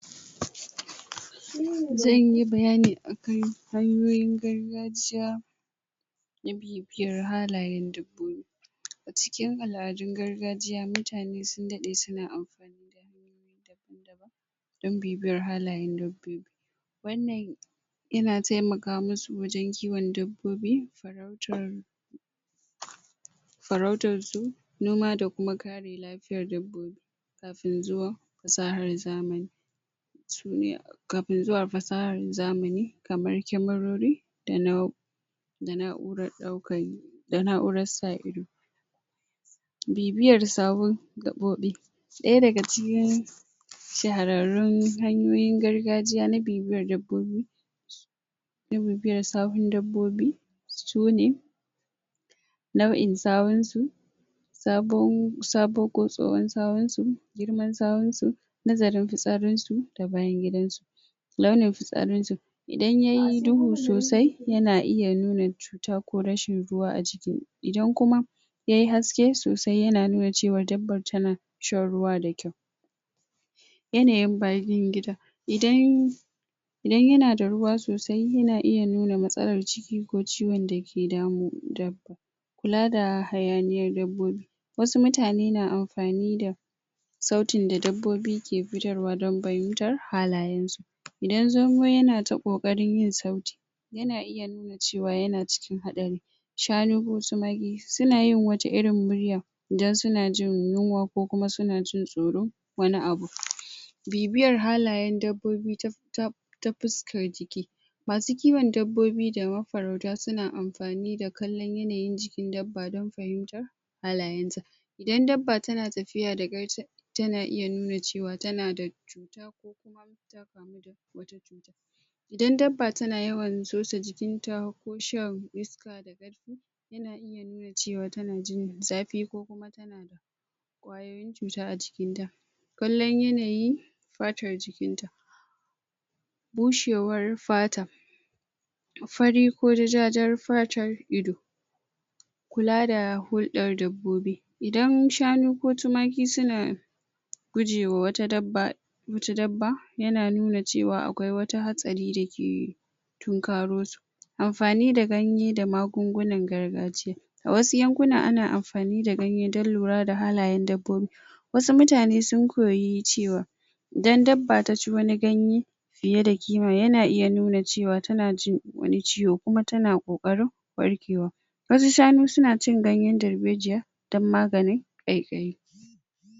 zanyi bayani akan hanyoyin gargajiya na bibiyar halayen dabbobi. Acikin al'adun gargajiya mutane sun dade suna amfani dan bibiyar halayen dabbobi wannan yana taimaka masu wajen kiwon dabbobi, farautar........ farautar su, noma da kuma kare lafiyar dabbobi. kafin zuwan fasahar zamani. kafin zuwan fasahan zamani..... kamar camarori da na'u.... da na'uran daukan... da na'uran sa ido bibiyan sahun gaɓoɓi ɗaya daga cikin shaharrarun hanyoyin gargajiya na bibiyar dabbobi na bibiyar sahun dabbobi sune: nau'in sahun su sabon ko tsohon sahunsu, girman sahunsu, nazarin fitsarin su da bayan gidansu launin fitsarin su idan yayi duhu sosai, yana iya nuna cewa cuta ko rashin ruwa a jiki, idan kuma yayi haske sosai yana iya nuna cewa dabbar tana shan ruwa da kyau yanayin bayan gida idan..... idan yanada ruwa sosai yana iya nuna matsalar ciki ko ciwon dake damun dabba kula da hayaniyar dabbobi wasu mutane na amfani da sautin da dabbobi ke fitarwa don fahimtar halayensu idan zomo yanata kokarin yin sauti yana iya nuna cewa yana cikin haɗari shanu ko timaki sunayin wata irin murya idan suna jin yunwa kokuma suna jin tsoron wani abu bibiyar halayen dabbobi ta ta... ta fuskar jiki masu kiwon dabbobi da mafarauta suna amfani da kallon yanayin jikin dabbar dan fahintar... halayensa. Idan dabba tana tafiya da tana iya nuna cewa tanada cuta ku kuma ta kamu da[?????] idan dabba tana yawan sosa jikinta ko shan yana yana nuna cewa tana jin zafi kukuma kwayoyin cuta a jiknta kallon yananyin fatar jikinta bushewar fata fari ko ja ja jar fatar ido kula da hulɗar dabbobi idan shanu ko tumaki suna gujewa wata dabba wata dabba yana nuna cewa akwai wata haɗari dake tunkaro su Anfani da ganye da magangunan gargajiya a wasu yankunan ana anfani da ganye da lura da halayen dabbobi wasu mutane sun koyi cewa idan dabba taci wani ganye fiye da kima, yana iya nuna cewa tana jin wani ciwo kuma tana koƘarin warkewa. Wasu shanu suna cin ganyen darbejiya dan maganin ƘaiƘayi